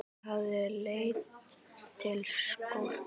Það hafi leitt til skorts.